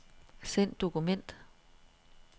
Send dokument.